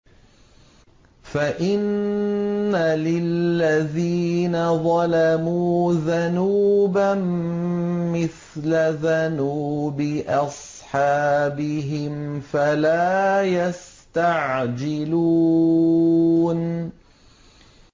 فَإِنَّ لِلَّذِينَ ظَلَمُوا ذَنُوبًا مِّثْلَ ذَنُوبِ أَصْحَابِهِمْ فَلَا يَسْتَعْجِلُونِ